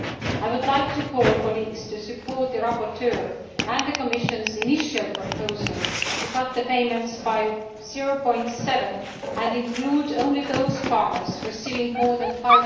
I would like to call on colleagues to support the rapporteur and the Commission's initial proposal to cut the payments by 0.7 and include only those farmers receiving more than EUR